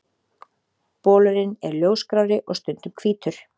Bolurinn er ljósgrárri og stundum hvítur.